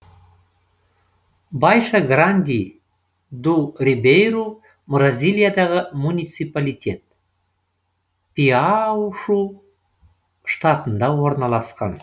байша гранди ду рибейру бразилиядағы муниципалитет пиауи штатында орналасқан